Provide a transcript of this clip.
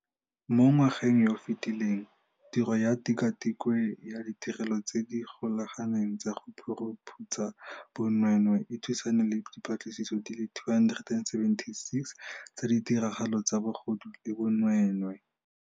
Mo ngwageng yo o fetileng, tiro ya Tikwatikwe ya Ditirelo tse di Golaganeng tsa go Phuruphutsha Bonweenwee e thusane le dipatlisiso di le 276 tsa ditiragalo tsa bogodu le bonweenwee.